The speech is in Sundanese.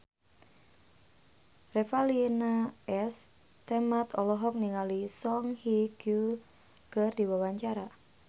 Revalina S. Temat olohok ningali Song Hye Kyo keur diwawancara